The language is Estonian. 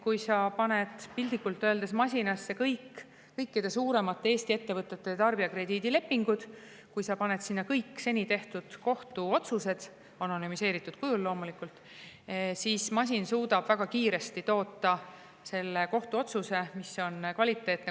Kui sa paned piltlikult öeldes masinasse kõikide suuremate Eesti ettevõtete tarbijakrediidilepingud ja paned sinna kõik seni tehtud kohtuotsused, anonüümsel kujul loomulikult, siis suudab masin väga kiiresti toota kohtuotsuse, mis on kvaliteetne.